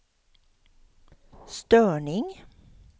störning